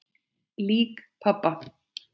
Lík pabba?